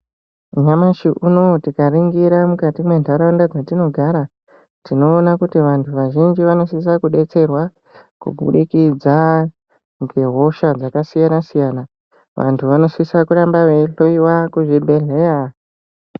Nyamashi unouyu tikaringira mukati menharaunda dzatinogara tinoona kuti vantu vazhinji vanosisa kubetserwa kubudikidza ngehosha dzakasiyana-siyana. Vantu vanosisa kuramba veihloiva kuzvibhedhleya.